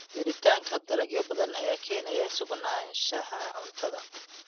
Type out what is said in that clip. Jiritaanka dalagyo badan ayaa keenaya sugnaanshaha cuntada.